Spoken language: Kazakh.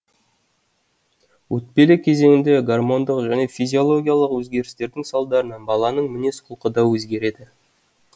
өтпелі кезеңде гормондық және физиологиялық өзгерістердің салдарынан баланың мінез құлқы да өзгереді